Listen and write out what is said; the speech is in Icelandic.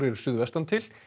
suðvestan til